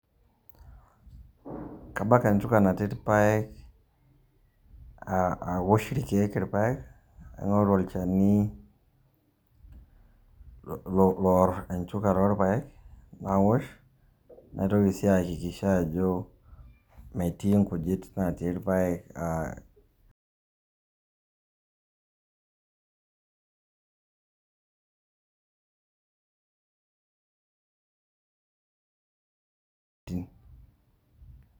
Kabak enchuka natii irpaek, awosh irkeek irpaek, naing'oru olchani loar enchuka torpaek, nawosh. Naitoki si aakikisha ajo, metii nkujit natii irpaek.